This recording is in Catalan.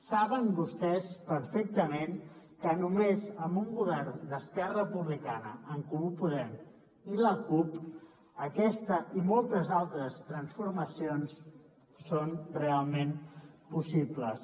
saben vostès perfectament que només amb un govern d’esquerra republicana en comú podem i la cup aquesta i moltes altres transformacions són realment possibles